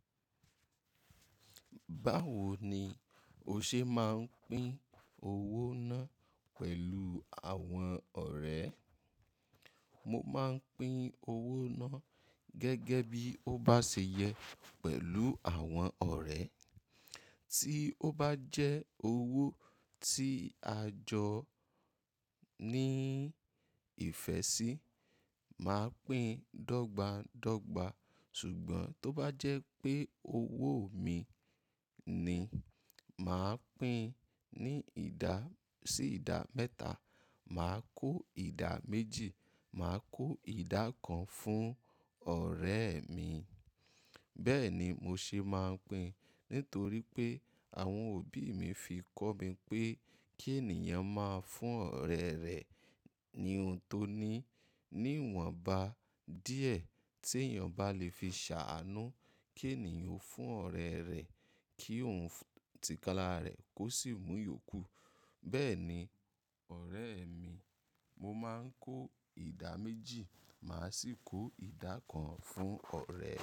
Báwo ni o ṣe máa ń pín owó náà pẹ̀lú àwọn ọ̀rẹ́? Mo máa ń pín owó náà gẹ́gẹ́ bí ó bá ṣe yẹ pẹ̀lú àwọn ọ̀rẹ́. Tí ó bá jẹ́ owó tí a jọ ní ìfẹ́ sí, màá pín dọ́gba dọ́gba. Ṣùgbọ́n tó bá jẹ́ pé owó mi ni, màá pín ní ìda, sí ìda mẹ́ta, màá kó ìda méjì, màá kó ìdá kan fún ọ̀rẹ́ mi. Bẹ́ẹ̀ ni mo ṣe máa ń pín nítorí pé àwọn òbí mi fi kọ́ mi pé kí ènìyàn máa fún ọ̀rẹ́ rẹ̀ ní ohun tó ní, níwọ̀nba díẹ̀ tí èèyàn bá lè fi ṣàánú. Kí ènìyàn fún ọ̀rẹ́ rẹ̀ kí ohun tìkalárẹ̀ kó sì mú yòókù. Bẹ́ẹ̀ ni ọ̀rẹ́ mi, mo máa ń kó ìda méjì, màá sì kó ìdá kan fún ọ̀rẹ́.